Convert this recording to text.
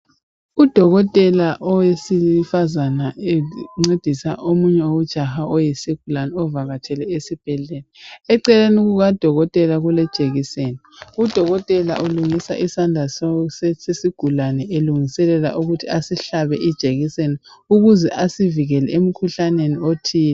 Udokotela owesifazana encendisa omunye ujaha oyisigulabe ovakatshele esibhedlela eceleni kukadokotela kule jekiseni udokotela ulungisa isandla sesigulane elungiselela ukuthi asihlabe ijekiseni ukuze asivikele emkhuhlaneni othile